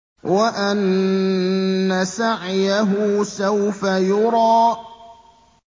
وَأَنَّ سَعْيَهُ سَوْفَ يُرَىٰ